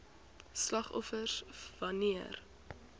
slagoffers wan neer